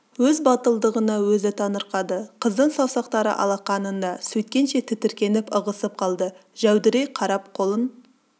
өз батылдығына өзі таңырқады қыздың саусақтары алақанында сөйткенше тітіркеніп ығысып қалды жәудірей қарап қолын